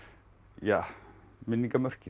ja